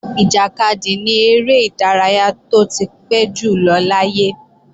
Ìjàkadì ni eré ìdárayá tó ti pẹ́ jùlọ láyé